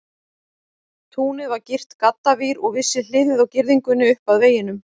Túnið var girt gaddavír, og vissi hliðið á girðingunni upp að veginum.